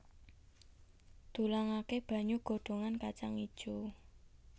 Dulangaké banyu godhogan kacang ijo